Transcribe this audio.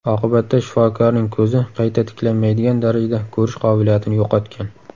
Oqibatda shifokorning ko‘zi qayta tiklanmaydigan darajada ko‘rish qobiliyatini yo‘qotgan.